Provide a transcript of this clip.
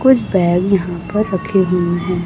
कुछ बैग यहा पर रखे हुए हैं।